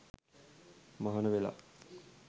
මහණ වෙලා